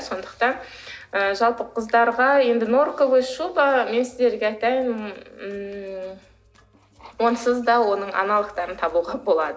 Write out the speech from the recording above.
сондықтан ы жалпы қыздарға енді норковая шуба мен сіздерге айтайын ммм онсыз да оның аналогтарын табуға болады